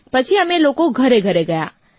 પછી અમે લોકો ઘરેઘરે ગયાં